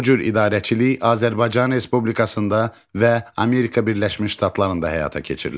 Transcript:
Bu cür idarəçilik Azərbaycan Respublikasında və Amerika Birləşmiş Ştatlarında həyata keçirilir.